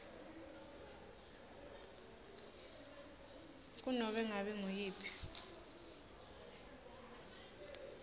kunobe ngabe nguyiphi